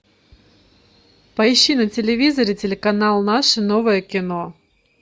поищи на телевизоре телеканал наше новое кино